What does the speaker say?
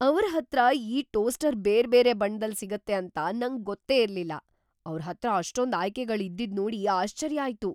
ಅವ್ರ್‌ ಹತ್ರ ಈ ಟೋಸ್ಟರ್ ಬೇರ್ಬೇರೆ ಬಣ್ಣದಲ್ ಸಿಗುತ್ತೆ ಅಂತ ನಂಗ್ ಗೊತ್ತೇ ಇರ್ಲಿಲ್ಲ, ಅವ್ರ್‌ ಹತ್ರ ಅಷ್ಟೊಂದ್‌ ಆಯ್ಕೆಗಳ್ ಇದ್ದಿದ್‌ ನೋಡಿ ಆಶ್ಚರ್ಯ ಆಯ್ತು.